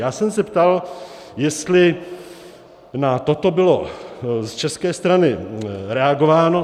Já jsem se ptal, jestli na toto bylo z české strany reagováno.